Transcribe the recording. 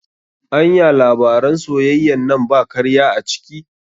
Anya labaran soyayyan nan ba karya a ciki?